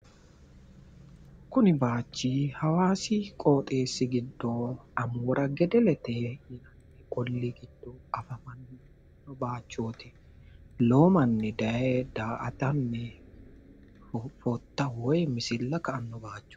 Kuni manchi hawaasi qooxeessi giddo amoora gedelete ollii giddo afamanno bayichooti. Lowo manni daye daa"atanni fotta woyi misilla ka"anno bayichooti.